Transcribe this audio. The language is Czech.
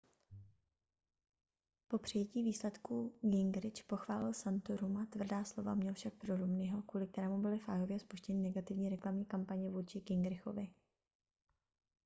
po přijetí výsledků gingrich pochválil santoruma tvrdá slova měl však pro romneyho kvůli kterému byly v iowě spuštěny negativní reklamní kampaně vůči gingrichovi